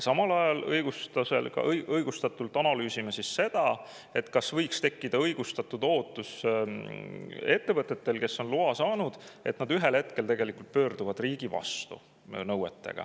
Samal ajal analüüsime seda – õigustatult –, kas ettevõtetel, kes on loa saanud, võiks tekkida õigustatud ootus ja kas nad võiksid ühel hetkel oma nõuetega pöörduda riigi vastu.